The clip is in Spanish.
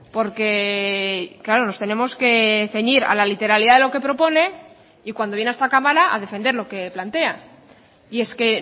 porque claro nos tenemos que ceñir a la literalidad de lo que propone y cuando viene a esta cámara a defender lo que plantea y es que